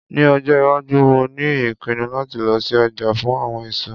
Ní ọjọ́ - iwájú mo ní ìpinnu láti lọ sí ọjà fún àwọn èso